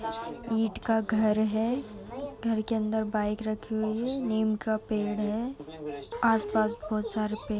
ईंट का घर है। घर के अंदर बाइक रखी हुई है। नीम का पेड है आस-पास बोहोत सारे पेड --